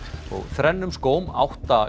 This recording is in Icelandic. þrennum skóm átta